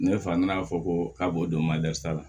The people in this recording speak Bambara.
Ne fa nana fɔ ko k'a b'o don la